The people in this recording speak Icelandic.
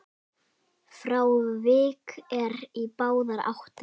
Frávik eru í báðar áttir.